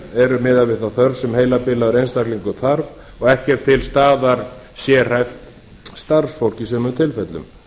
eru miðað við þá þörf sem heilabilaður einstaklingur þarf og ekki til staðar sérhæft starfsfólk í sumum tilfellum